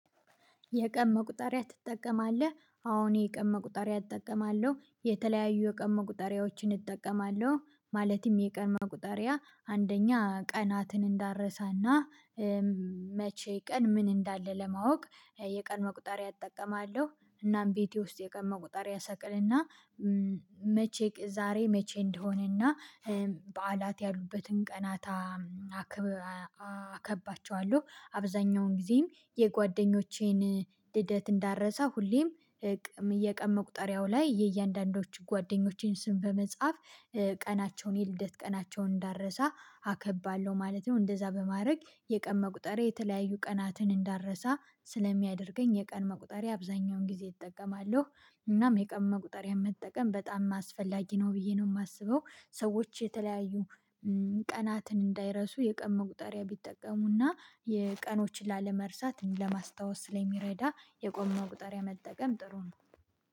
የቀን መቁጠሪያ ትጠቀማለህ? አዎ እኔ የቀን መቁጠሪያ እጠቀማለሁ የተለያዩ የቀን መቁጠሪያዎችን እጠቀማለሁ ማለትም የቀን መቁጠሪያ አንደኛ ቀናትን እንዳረሳና መቼ ቀን ምን እንዳለ ለማወቅ የቀን መቁጠሪያ እጠቀማለሁ እናም ቤቴ ውስጥ የቀን መቁጠሪያ እሰቅልና መቼ ዛሬ መቼ እንደሆነና በዓላት ያሉበትን ቀናት አከባቸዋለሁ አብዛኛውን ጊዜም የጓደኞቼን ልደት እንዳረሳ ሁሌም የቀን መቁጠሪያው ላይ የእያንዳንዳችሁ ጓደኞቼን ስም በመጻፍ ቀናቸውን የልደት ቀናቸውን እንዳረሳ አከባለሁ ማለት ነው እንደዛ በማድረግ የቀን መቁጠሪያ የተለያዩ ቀናትን እንዳረሳ ስለሚያደርገኝ የቀን መቁጠሪያ አብዛኛውን ጊዜ እጠቀማለሁ እናም የቀን መቁጠሪያ መጠቀም በጣም አስፈላጊ ነው ብዬ ነው የማስበው ሰዎች የተለያዩ ቀናትን እንዳይረሱ የቀን መቁጠሪያ ቢጠቀሙና የቀኖችን ላለመርሳት ለማስታወስ ስለሚረዳ የቀን መቁጠሪያ መጠቀም ጥሩ ነው፤